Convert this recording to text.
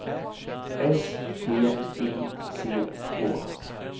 S T I C K